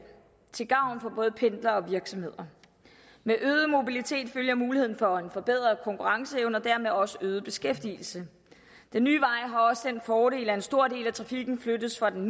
til gavn for både pendlere og virksomheder med øget mobilitet følger muligheden for en forbedret konkurrenceevne og dermed også øget beskæftigelse den nye vej har også den fordel at en stor del af trafikken flyttes fra den